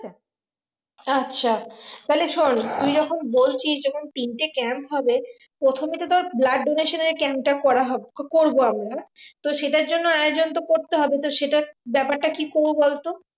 আচ্ছা তাহলে শোন তুই যখন বলছিস যখন তিনটে camp হবে প্রথমে তো তোর blood donation এর camp টা করা হবে বা করবো আমরা তো সেটার জন্য আয়োজন করতে হবে তো সেটার ব্যাপারটা কি করবো বলতো?